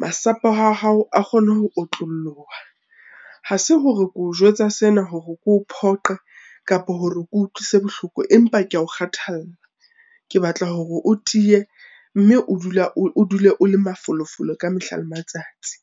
masapo a hao a kgone ho otloloha. Ha se hore ke o jwetsa sena hore ke o phoqe kapa hore ke o utlwise bohloko, empa kea o kgathalla. Ke batla hore o tiye mme o dule o le mafolofolo ka mehla le matsatsi.